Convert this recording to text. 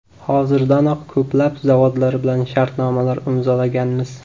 Hozirdanoq ko‘plab zavodlar bilan shartnomalar imzolaganmiz.